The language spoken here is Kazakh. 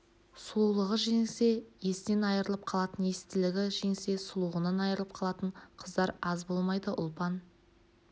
сұлулығы жеңсе есінен айрылып қалатын естілігі жеңсе сұлулығынан айрылып қалатын қыздар аз болмайды ұлпан